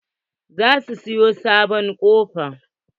Za su siya sabon kofofi.